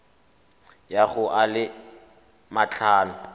ya go a le matlhano